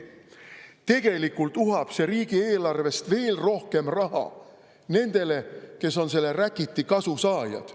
Tegelikult uhab see riigieelarvest veel rohkem raha nendele, kes on selle räkiti kasusaajad.